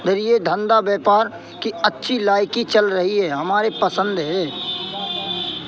धरिए धंधा व्यापार की अच्छी लाइकी चल रही है हमारी पसंद है।